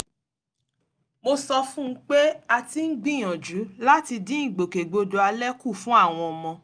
mo sọ fún un pé a ti ń gbìyànjú láti dín ìgbòkègbodò alẹ kù fún àwọn ọmọ